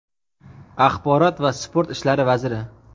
axborot va sport ishlari vaziri;.